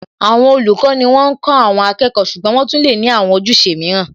Àwọn olùkọ́ ni wọ́n ń kó àwọn akẹ́kọ̀ọ́ ṣùgbọ́n wọ́n tún lè ní àwọn ojúṣe mìíràn